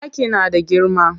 Ɗaki na da girma.